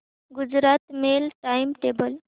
Gujarat mail time table